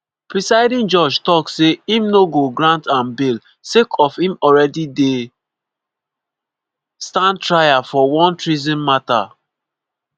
presiding judge tok say im no go grant am bail sake of im already dey stand trial for one treason mata.